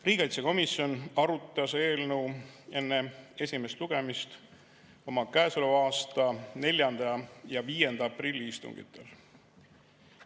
Riigikaitsekomisjon arutas eelnõu enne esimest lugemist oma käesoleva aasta 4. ja 5. aprilli istungil.